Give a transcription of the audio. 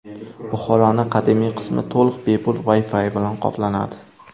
Buxoroning qadimiy qismi to‘liq bepul Wi-Fi bilan qoplanadi.